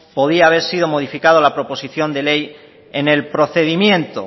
podía haber sido modificado en la proposición de ley en el procedimiento